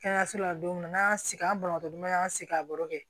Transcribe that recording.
Kɛnɛyaso la don min na n'an y'an sigi an balaka an sigi a baro kɛ